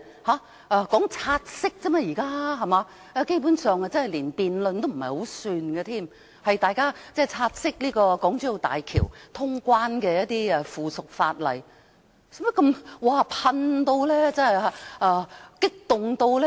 現在只是說"察悉議案"而已，基本上不算是辯論，是大家察悉港珠澳大橋通關的附屬法例，何需如此激動？